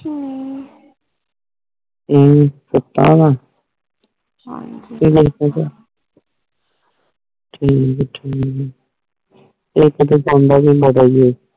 ਕਿਵੇਂ ਸੁਤਾ ਵਾ ਹਾਂਜੀ ਕ ਜਾਗਦਾ ਪਯਾ ਠੀਕ ਠੀਕ